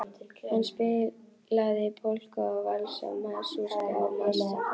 Hann spilaði polka og valsa, masúrka og marsa.